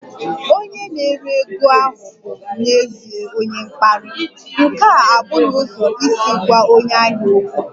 Onye na-ere ego ahụ bụ n'ezie onye mkparị, nke ahụ abụghị ụzọ isi gwa onye ahịa okwu